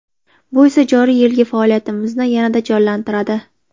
Bu esa joriy yilgi faoliyatimizni yanada jonlantiradi.